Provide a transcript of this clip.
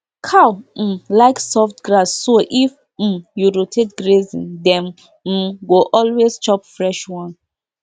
cow um like soft grass so if um you rotate grazing dem um go always chop fresh one